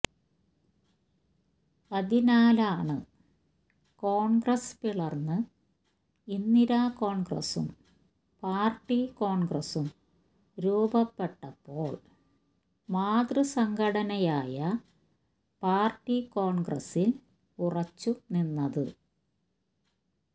അതിനാലാണ് കോൺഗ്രസ്സ് പിളർന്ന് ഇന്ദിര കോൺഗ്രസ്സും പാർട്ടി കോൺഗ്രസ്സും രൂപപ്പെട്ടപ്പോൾ മാതൃസംഘടനയായ പാർട്ടി കോൺഗ്രസ്സിൽ ഉറച്ചുനിന്നത്